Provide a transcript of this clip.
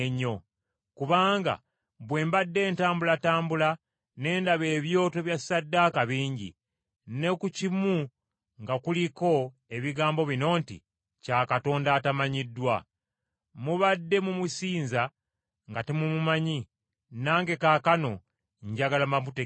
kubanga bwe mbadde ntambulatambula ne ndaba ebyoto bya ssaddaaka bingi, ne ku kimu nga kuliko ebigambo bino nti: Kya Katonda Atamanyiddwa. Mubadde mumusinza nga temumumanyi, nange kaakano njagala mbamutegeeze.